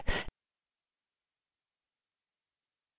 इस mission पर अधिक जानकारी के लिए उपलब्ध लिंक पर संपर्क करें